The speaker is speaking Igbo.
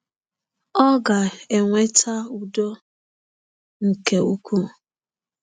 Ọ ga-eweta “udo nke ukwuu